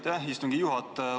Aitäh, istungi juhataja!